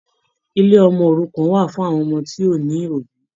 Ilé ọmọ òrukàn wà fún àwọn ọmọ tí kò ní obì